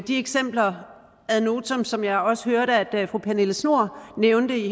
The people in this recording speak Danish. de eksempler ad notam som jeg også hørte at fru pernille schnoor nævnte i